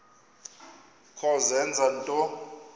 kho zenza nto